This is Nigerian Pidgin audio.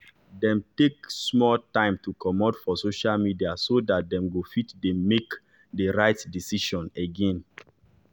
dem take small time to comot for social media so dat dem go fit dey make de rite decision again